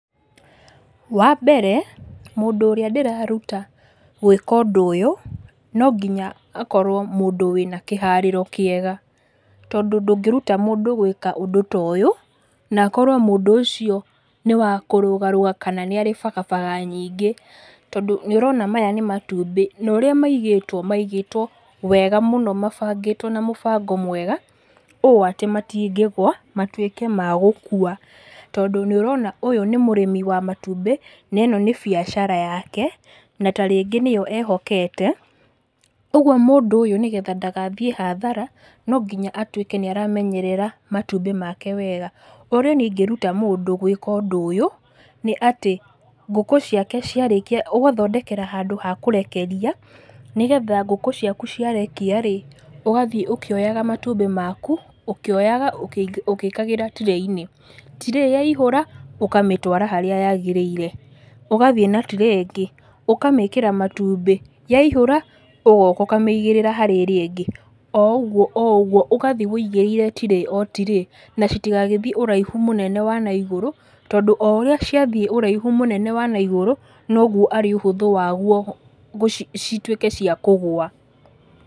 Wa mbere mũndũ ũrĩa ndĩraruta gwĩka ũndũ ũyũ no nginya akorwo mũndũ wĩna kĩhaarĩro kĩega, tondũ ndũngĩruta mũndũ gwĩka ũndũ ta ũyũ na akorwo mũndũ ũcio nĩ wa kũrũgarũga kana nĩ arĩ bagabaga nyingĩ. Tondũ nĩ ũrona maya nĩ matumbĩ na ũrĩa maigĩtwo maigĩtwo wega mũno mabangĩtwo na mũbango mwega ũũ atĩ matingĩgũa matuĩke ma gũkua. Tondũ nĩ ũrona ũyũ nĩ mũrĩmi wa matumbĩ na ĩno nĩ biacara yake na ta rĩngĩ nĩyo ehokete. Ũguo mũndũ ũyũ nĩgetha ndagathiĩ hathara no nginya atuĩke nĩ aramenyerera matumbĩ make wega. Ũrĩa niĩ ingĩruta mũndũ wĩra ũyũ nĩ atĩ, ngũkũ ciake ciarĩkia ũgathondekera handũ ha kũrekeria, nĩgetha ngũkũ ciaku ciarekia rĩ, ũgathiĩ ũkĩoyaga matumbĩ maku ũkĩoyaga ũgĩkagĩra tray inĩ. Tray yaihũra ũkamĩtwara harĩa yaagĩrĩire, ũgathiĩ na tray ingĩ ũkamĩkĩra matumbĩ yaihũra ũgoka ũkamĩigĩrĩra harĩ ĩrĩa ĩngĩ, o ũguo o ũguo ũgathiĩ ũigĩrĩire tray o tray. Na citigagĩthiĩ ũraihu mũnene wa naigũrũ, tondũ o ũrĩa ciathiĩ ũraihu mũnene wa naigũrũ noguo arĩ ũhũthũ waguo cituĩke cia kũgwa.